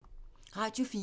Radio 4